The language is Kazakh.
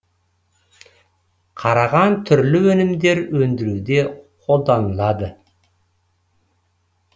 қараған түрлі өнімдер өндіруде қолданылады